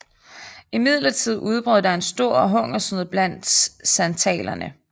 Imidlertid udbrød der en stor hungersnød blandt santalerne